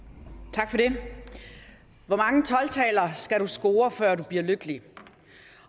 tak for det hvor mange tolv taller skal du score før du bliver lykkelig